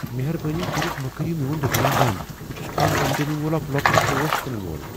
مہربٲنی کٔرتھ مہٕ كریو میون دُکان بنٛد ۔ بہٕ چھُس كم آمدنی وول اکھ لۄکُٹ پوش کٕنن وول ۔